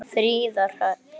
Þín, Fríða Hrönn.